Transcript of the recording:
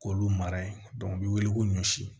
K'olu mara yen u bɛ wele ko ɲɔsi